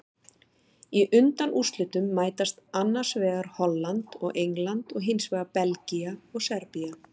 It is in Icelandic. Í undanúrslitum mætast annars vegar Holland og England og hinsvegar Belgía og Serbía.